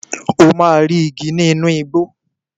O máa rí igi nínú igbó.